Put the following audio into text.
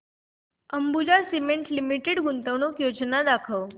Ambuja Cement Limited गुंतवणूक योजना दाखव